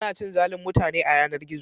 Ana cin zalin mutane a yanar-gizo.